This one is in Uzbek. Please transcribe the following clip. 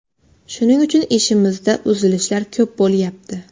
Shuning uchun ishimizda uzilishlar ko‘p bo‘lyapti.